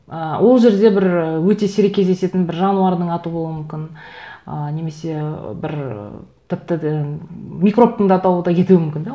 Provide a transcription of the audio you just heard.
ы ол жерде бір ы өте сирек кездесітін бір жануардың аты болуы мүмкін ы немесе бір тіпті де микробтың да атауы да кетуі мүмкін де